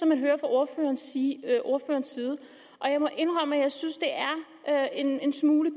man hører fra ordførerens side og jeg må indrømme at jeg synes det er en smule